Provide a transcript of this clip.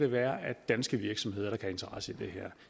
være af danske virksomheder der kan have interesse i det her